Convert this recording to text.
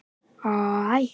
Það fjarar ekki ennþá